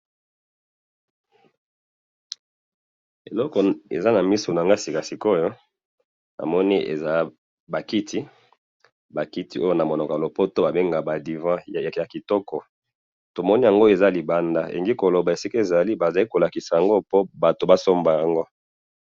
Eloko eza namiso nanga sikasikoyo, namoni eza bakiti, bakiti oyo namunoko yalopoto babengaka ba divant yakitoko, tomoni yango eza libanda, elinginkoloba esika ezali bazali kolakisa yango po batu basomba yango.